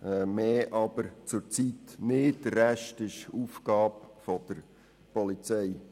Mehr aber zurzeit nicht, der Rest ist Aufgabe der Polizei.